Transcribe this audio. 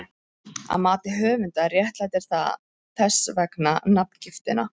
Að mati höfundar réttlætir það þess vegna nafngiftina.